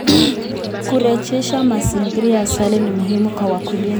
Kurejesha mazingira ya asili ni muhimu kwa wakulima.